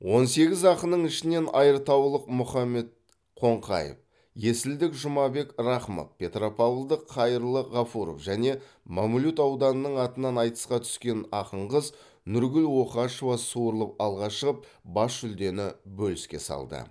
он сегіз ақынның ішінен айыртаулық мұхаммед қоңқаев есілдік жұмабек рақымов петропавлдық қайырлы ғафуров және мамлют ауданының атынан айтысқа түскен ақын қыз нұргүл оқашева суырылып алға шығып бас жүлдені бөліске салды